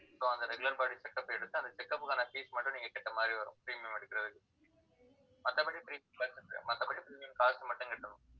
so அந்த regular body checkup எடுத்து அந்த checkup க்கான fees மட்டும் நீங்க கட்டற மாதிரி வரும் premium எடுக்குறதுக்கு மத்தபடி மத்தபடி premium cards மட்டும் கட்டணும்